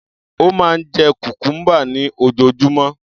Ó máa ń jẹ cucumber ní ojoojúmọ́.